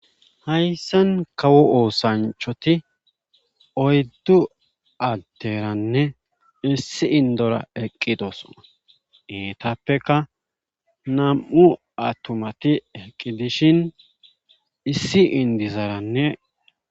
hayssan kawo oosanchati oyddu adderanne issi indora eqqidosona iitappeka nam7u atumati eqqi dishin issi indizarannee